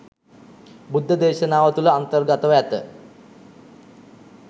බුද්ධදේශනාව තුළ අන්තර්ගතව ඇත.